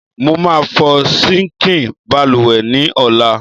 Mo máa fọ síǹkì balùwẹ̀ ní ọ̀la.